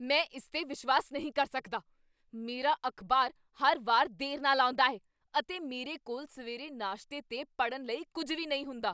ਮੈਂ ਇਸ 'ਤੇ ਵਿਸ਼ਵਾਸ ਨਹੀਂ ਕਰ ਸਕਦਾ! ਮੇਰਾ ਅਖ਼ਬਾਰ ਹਰ ਵਾਰ ਦੇਰ ਨਾਲ ਆਉਂਦਾ ਹੈ, ਅਤੇ ਮੇਰੇ ਕੋਲ ਸਵੇਰੇ ਨਾਸ਼ਤੇ ਤੇ ਪੜ੍ਹਨ ਲਈ ਕੁੱਝ ਵੀ ਨਹੀਂ ਹੁੰਦਾ।